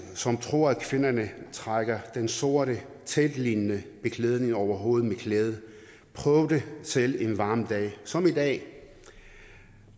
som tror at kvinderne trækker den sorte teltlignende beklædning over hovedet med glæde prøv det selv en varm dag som i dag